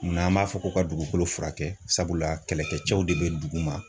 N'an m'a fɔ ko ka dugukolo fura kɛ sabula kɛlɛkɛcɛw de bɛ duguma.